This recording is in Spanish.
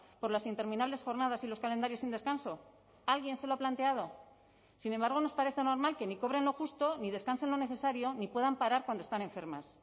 por las interminables jornadas y los calendarios sin descanso alguien se lo ha planteado sin embargo nos parece normal que ni cobren lo justo ni descansen lo necesario ni puedan parar cuando están enfermas